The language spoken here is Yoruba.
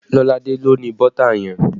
Lolade ló ni bọ́tà yẹn